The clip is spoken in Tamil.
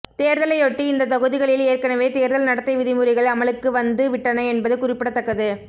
தேர்தலையொட்டி இந்த தொகுதிகளில் ஏற்கனவே தேர்தல் நடத்தை விதிமுறைகள் அமலுக்கு வந்து விட்டன என்பது குறிப்பிடத்தக்கது